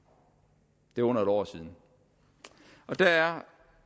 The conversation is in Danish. det er under et år siden der er